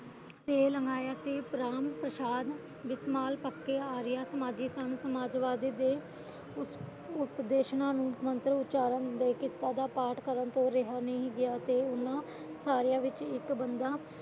sale Maya Ram Prashad ਵਿਸਮਾਲ ਪੱਕੇ ਆਰੀਆ ਸਮਾਜਵਾਦੀ ਸਨ ਸਮਾਜਵਾਦੀਆਂ ਦੇ ਉਪਦੇਸ਼ਨਾ ਨੂੰ ਮੰਤ੍ਰ ਉਚਾਰਣ ਦੇ ਕਿੱਤਾ ਦਾ ਪਾਠ ਕਰਨ ਤੋਂ ਰਿਹਾ ਨਹੀਂ ਗਿਆ ਤੇ ਉਹਨਾਂ ਸਾਰੀਆਂ ਵਿਚ ਇੱਕ ਬੰਦਾ